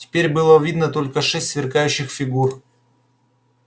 теперь было видно только шесть сверкающих фигур